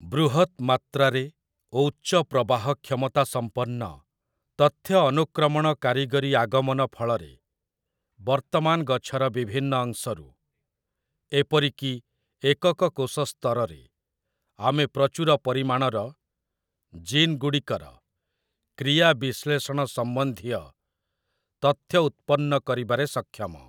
ବୃହତ୍‌ ମାତ୍ରାରେ ଓ ଉଚ୍ଚ ପ୍ରବାହ କ୍ଷମତାସମ୍ପନ୍ନ ତଥ୍ୟ ଅନୁକ୍ରମଣ କାରିଗରି ଆଗମନ ଫଳରେ, ବର୍ତ୍ତମାନ ଗଛର ବିଭିନ୍ନ ଅଂଶରୁ, ଏପରିକି ଏକକ କୋଷ ସ୍ତରରେ ଆମେ ପ୍ରଚୁର ପରିମାଣର ଜିନ୍ ଗୁଡ଼ିକର କ୍ରିୟା ବିଶ୍ଳେଷଣ ସମ୍ବନ୍ଧୀୟ ତଥ୍ୟ ଉତ୍ପନ୍ନ କରିବାରେ ସକ୍ଷମ ।